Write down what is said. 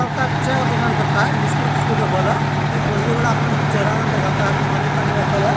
लगता है चाय का दुकान करता है बिस्कुट -उस्कुट रखल है। ऐ बोजरी वाला अपन चेहरा न दिखाता है पानी-तानी रखल है।